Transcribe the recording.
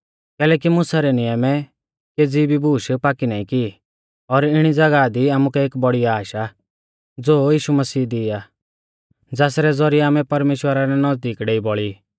कैलैकि मुसा रै नियमै केज़ी भी बूश पाक्की नाईं की और इणी ज़ागाह दी आमुकै एक बौड़ी आश आ ज़ो यीशु मसीह दी आ ज़ासरै ज़ौरिऐ आमै परमेश्‍वरा रै नज़दीक डेइ बौल़ी